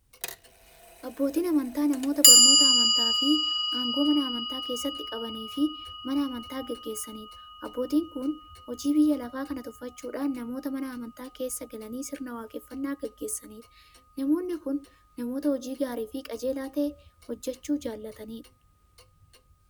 Abbootiin amantaa namoota barnoota amantaafi aangoo Mana amantaa keessatti qabaniifi Mana amantaa gaggeessaniidha. Abbootiin kun hojii biyya lafaa kana tuffachuudhan namoota Mana amantaa keessa galanii sirna waaqeffannaa gaggeessaniidha. Namoonni kun, namoota hojii gaariifi qajeelaa ta'e hojjachuu jaalataniidha.